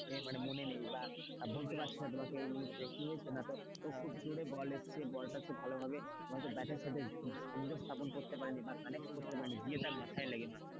এ মানে মনে নেই বা বলতে পারছি না তোমাকে এই মুহূর্তে কি হয়েছে না তো খুব জোরে বল এসেছে বলটা সে ভালোভাবে হয়তো ব্যাটের সাথে সংযোগ স্থাপন করতে পারিনি বা connect করতে পারেনি দিয়ে তার মাথায় লাগে মাথায়,